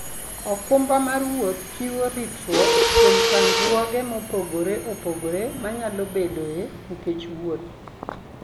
okumba mar wuoth chiwo ritruok kuom chandruoge mopogore opogore manyalo bedoe nikech wuoth.